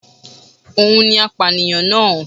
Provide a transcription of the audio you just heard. Òun ni apànìyàn náà